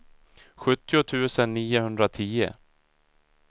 sjuttio tusen niohundratio